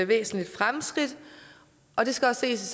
væsentligt fremskridt og det skal også